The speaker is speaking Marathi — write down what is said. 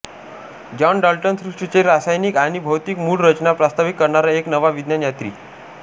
जॉन डाल्टन सृष्ठीचे रासायनिक आणि भौतिक मूळ रचना प्रस्तावित करणारा एक नवा विज्ञान यात्री